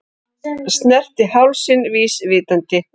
Snerti hálsinn vísvitandi.